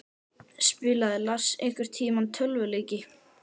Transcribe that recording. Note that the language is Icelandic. Spilaði Lars einhverntímann tölvuleiki?